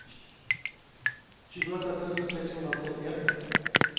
tjugoåtta tusen sexhundratrettioett